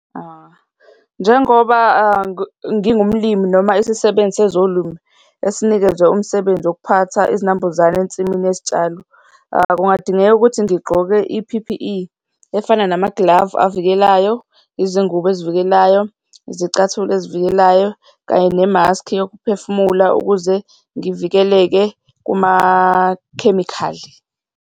Njengoba ngingumlimi noma isisebenzisa sezolimo esinikezwe umsebenzi yokuphatha izinambuzane ensimini yezitshalo, kungadingeka ukuthi ngigqoke i-P_P_E efana namaglavu avikelayo, izingubo ezivikelayo, izicathulo ezivikelayo, kanye nemaskhi yokuphefumula, ukuze ngivikeleke kumakhemikhali.